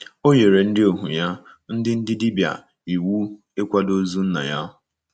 O nyere “ ndị ohu ya, ndị ndị dibịa, iwu ịkwado ozu nna ya. ”